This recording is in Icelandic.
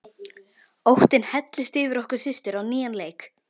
Óttinn helltist yfir okkur systur á nýjan leik.